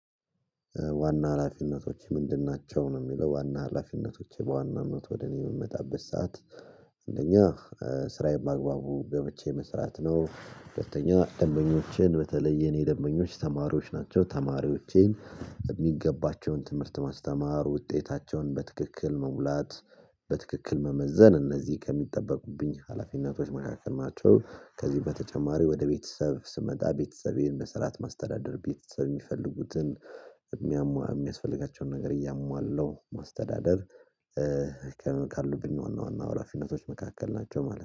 ዋና ሀላፊነቶች ምንድን ናቸው ነው የሚለው ዋና ሀላፊነቶች በዋናነት ወደ እኔ የምመጣበት ሰዓት እንደኛ ስራዬን በአግባቡ በብቻዬ መስራት ነው ሁለተኛ ደንበኞችን በተለይ የኔ ደንበኞች ተማሪዎች ናቸው ተማሪዎቼን የሚገባቸውን ትምህርት ማስተማር ውጤታቸውን በትክክል መሙላት በትክክል መመዘን እነዚህ ከሚጠበቁብኝ ሀላፊነቶች መካከል ናቸው። ከዚህ በተጨማሪ ወደ ቤተሰብ ስመጣ ቤተሰቤን በስርዓት ማስተዳደር ቤተሰብ የሚፈልጉትን የሚያሟላ የሚያስፈልጋቸውን ነገር እያሟላለሁ ማስተዳደር ካሉብኝ ዋና ዋና ሀላፊነቶች መካከል ናቸው ማለት ነው።